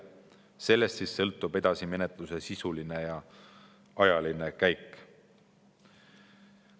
Sellest sõltub menetluse edasine sisuline ja ajaline käik.